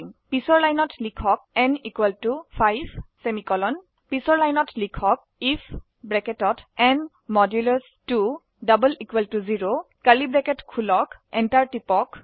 পিছৰ লাইনত লিখক n 5 পিছৰ লাইনত লিখক আইএফ ন 2 0 enter টিপক